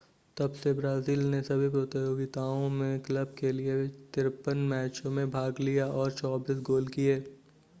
तब से ब्राज़ील ने सभी प्रतियोगिताओं में क्लब के लिए 53 मैचों में भाग लिया और 24 गोल किए